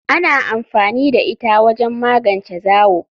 Ana amfani da ita wajen magance zawo.